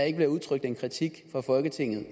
ikke bliver udtrykt en kritik fra folketingets